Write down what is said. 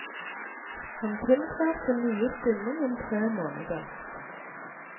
Han tiltrer sin nye stilling om tre måneder.